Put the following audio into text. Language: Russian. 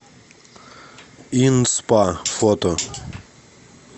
ин спа фото